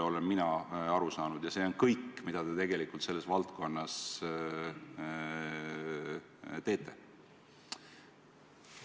Ja see on kõik, mida te tegelikult selles valdkonnas teete.